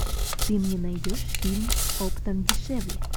ты мне найдешь фильм оптом дешевле